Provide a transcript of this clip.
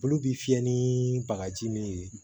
Olu bi fiyɛ ni bagaji min ye